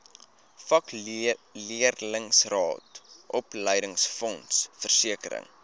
vakleerlingraad opleidingsfonds versekering